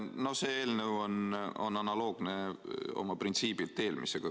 No see eelnõu on oma printsiibilt analoogne eelmisega.